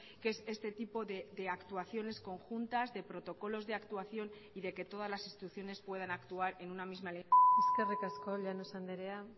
que es este tipo de actuaciones conjuntas de protocolos de actuación y de que todas las instituciones puedan actuar en una misma eskerrik asko llanos andrea